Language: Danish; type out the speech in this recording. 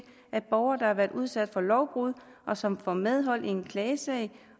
at borgere der har været udsat for lovbrud og som får medhold i en klagesag